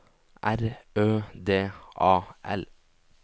R Ø D A L